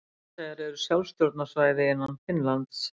Álandseyjar eru sjálfstjórnarsvæði innan Finnlands.